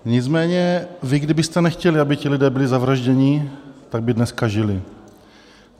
Nicméně vy, kdybyste nechtěli, aby ti lidé byli zavražděni, tak by dneska žili.